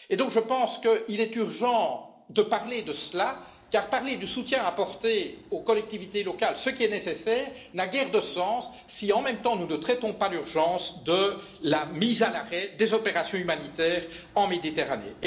Je pense donc qu'il est urgent d'en parler, car parler du soutien à apporter aux collectivités locales est certes nécessaire, mais n'a guère de sens si, en même temps, nous ne traitons pas l'urgence de la mise à l'arrêt des opérations humanitaires en Méditerranée.